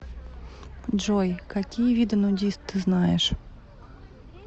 джой какие виды нудист ты знаешь